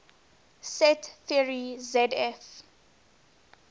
set theory zf